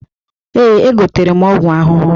Ee, egotere m ọgwụ ahụhụ.